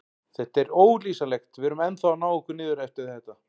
Þetta er ólýsanlegt, við erum ennþá að ná okkur niður eftir þetta.